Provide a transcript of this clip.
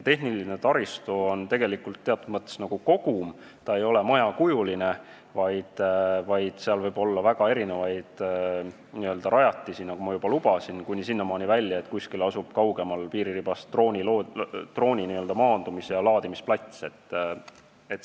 Tehniline taristu on tegelikult nagu kogum: see ei ole majakujuline, vaid seal võib olla väga erinevaid rajatisi, nagu ma juba ütlesin – sinnamaani välja, et kuskil piiriribast kaugemal asub drooni maandumis- ja laadimisplats.